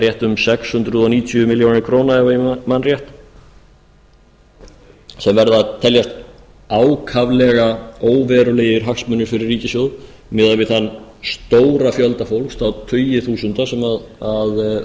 rétt um sex hundruð níutíu milljónir króna ef ég man rétt sem verða að teljast ákaflega óverulegir hagsmunir fyrir ríkissjóð miðað við þann stóra fjölda fólks þá tugi þúsunda sem